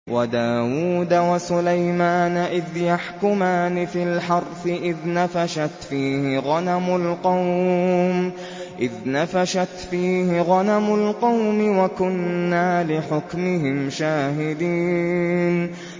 وَدَاوُودَ وَسُلَيْمَانَ إِذْ يَحْكُمَانِ فِي الْحَرْثِ إِذْ نَفَشَتْ فِيهِ غَنَمُ الْقَوْمِ وَكُنَّا لِحُكْمِهِمْ شَاهِدِينَ